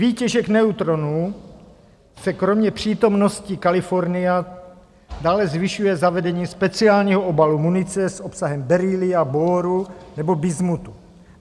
Výtěžek neutronů se kromě přítomnosti kalifornia dále zvyšuje zavedením speciálního obalu munice s obsahem beryllia, boru nebo bismutu.